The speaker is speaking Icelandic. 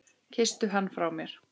Kysstu hann frá mér.